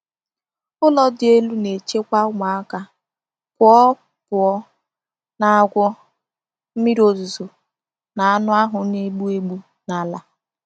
Ụlọ dị elu na-echekwa ụmụaka pụọ pụọ na agwọ, mmiri ozuzo na anụ ahụ na-egbu egbu n’ala.